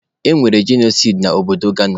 E nwere jenosaidi na obodo Gaza.